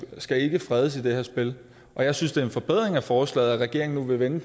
skal ikke fredes i det her spil jeg synes det er en forbedring af forslaget at regeringen nu vil vende